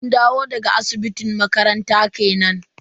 Mun dawo daga asibitin makaranta kenan.